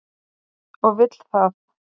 Og vill það.